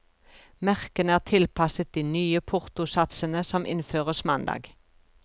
Merkene er tilpasset de nye portosatsene som innføres mandag.